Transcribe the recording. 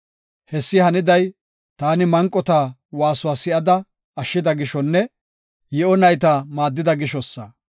Hessi haniday, taani manqota waasuwa si7ada ashshida gishonne, yi7o nayta maaddida gishosa.